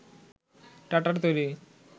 টাটার তৈরি